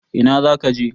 Ina zaka je?